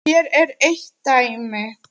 Hér er eitt dæmi.